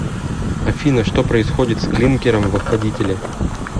афина что происходит с клинкером в охладителе